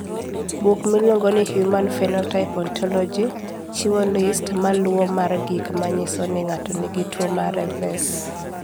Buk miluongo ni Human Phenotype Ontology chiwo list ma luwoni mar gik ma nyiso ni ng'ato nigi tuwo mar Revesz.